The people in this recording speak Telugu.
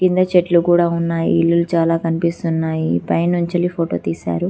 కింద చెట్లు కూడా ఉన్నాయి ఇల్లులు చాలా కనిపిస్తున్నాయి పై నుంచి వెళ్లి ఫోటో తీశారు